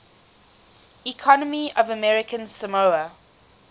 economy of american samoa